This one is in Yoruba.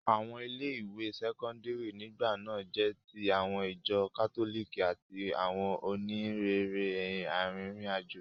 Àwọn ilé ìwé sẹ́kọ́ńdírì nígbà náà jẹ́ ti àwọn ìjọ kátólìkì àti àwọn òníhìnrere arìnrìn àjò.